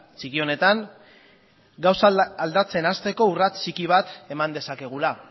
txiki honetan gauzak aldatzen hasteko urrats txiki bat eman dezakegula